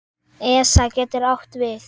ESA getur átt við